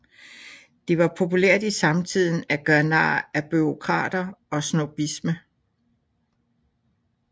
Det var populært i samtiden at gøre nar af bureaukrater og snobbisme